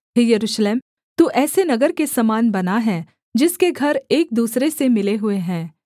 हे यरूशलेम तू ऐसे नगर के समान बना है जिसके घर एक दूसरे से मिले हुए हैं